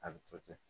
A bɛ to ten